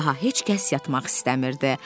Daha heç kəs yatmaq istəmirdi.